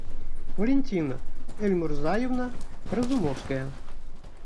валентина эльмурзаевна разумовская